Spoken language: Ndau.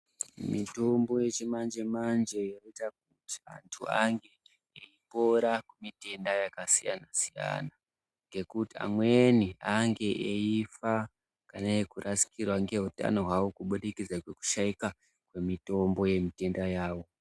Mitombo yechimanjemanje inoita kuti antu ange eipora kumitenda yakasiyanasiyana ngekuti amweni ange eifa kana kurasikirwa ngeutano hwavo kubudikidza ngekushaika kwemitombo yemitenda yawo.